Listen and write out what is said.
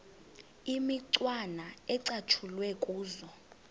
imicwana ecatshulwe kuzo